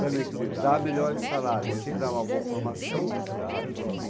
Também, quer dizer, dar melhores salários sem dar uma boa formação não resolve.